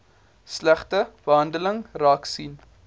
slegte behandeling raaksien